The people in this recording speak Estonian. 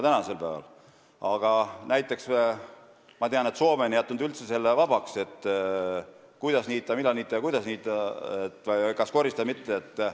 Ma tean, et näiteks Soome on jätnud selle üldse vabaks, kuidas niita, mida niita ja kas koristada või mitte.